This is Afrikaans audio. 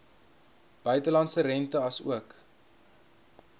buitelandse rente asook